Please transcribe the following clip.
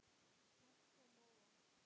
Margt kom á óvart.